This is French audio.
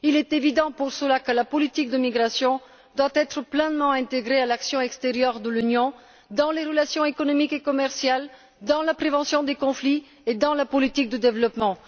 Il est évident, pour cela, que la politique de migration doit être pleinement intégrée à l'action extérieure de l'Union dans les relations économiques et commerciales, dans la prévention des conflits et dans la politique de développement.